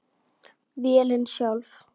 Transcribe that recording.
Vélin sjálf